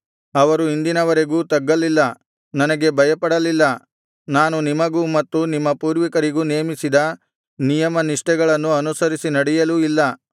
ಅವರು ಇಂದಿನವರೆಗೂ ತಗ್ಗಲಿಲ್ಲ ನನಗೆ ಭಯಪಡಲಿಲ್ಲ ನಾನು ನಿಮಗೂ ಮತ್ತು ನಿಮ್ಮ ಪೂರ್ವಿಕರಿಗೂ ನೇಮಿಸಿದ ನಿಯಮನಿಷ್ಠೆಗಳನ್ನು ಅನುಸರಿಸಿ ನಡೆಯಲೂ ಇಲ್ಲ